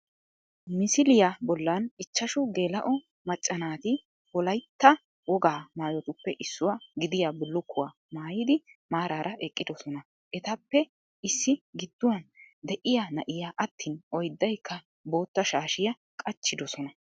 Misiliya bollan ichchashu geela'o macca naati wolaytta wogaa maayotuppe issuwa gidiya bullukkuwa maayidi maaraara eqqidosona Etappe issi gidduwan de'iya na"iya attiin oyddayikka bootta shaashiya qachchidosona